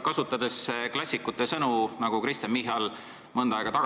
Kui klassikute sõnu kasutada, siis see meenutab